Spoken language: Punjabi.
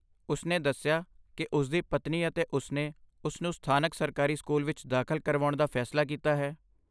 ਉਸਨੇ ਦੱਸਿਆ ਕਿ ਉਸਦੀ ਪਤਨੀ ਅਤੇ ਉਸਨੇ ਉਸਨੂੰ ਸਥਾਨਕ ਸਰਕਾਰੀ ਸਕੂਲ ਵਿੱਚ ਦਾਖਲ ਕਰਵਾਉਣ ਦਾ ਫੈਸਲਾ ਕੀਤਾ ਹੈ।